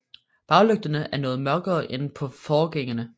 Baglygterne er noget mørkere end på forgængeren